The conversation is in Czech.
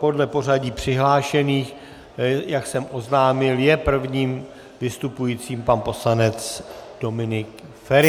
Podle pořadí přihlášených, jak jsem oznámil, je prvním vystupujícím pan poslanec Dominik Feri.